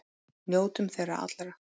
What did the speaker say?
Njótum þeirra allra.